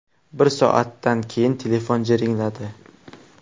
Bir soatdan keyin telefon jiringladi.